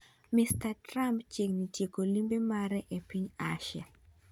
Mr. Trump chiegni tieko limbe mare e piny Asia.